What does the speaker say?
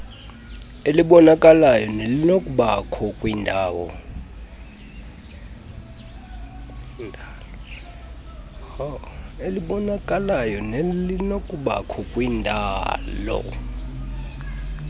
elibonakalayo nelinokubakho kwindalo